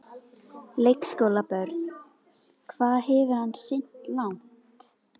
Leikskólabörn: Hvað hefur hann synt langt?